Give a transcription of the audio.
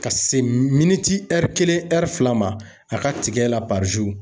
Ka se miniti kelen fila ma a ka tigɛ la .